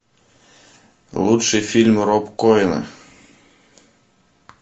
лучшие фильмы роб коэна